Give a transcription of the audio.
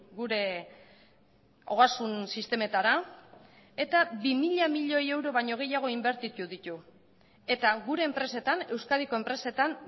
gure ogasun sistemetara eta bi mila milioi euro baino gehiago inbertitu ditu eta gure enpresetan euskadiko enpresetan